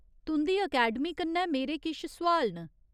तुं'दी अकैडमी कन्नै मेरे किश सोआल न।